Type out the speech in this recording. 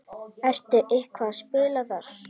Ertu eitthvað að spila þar?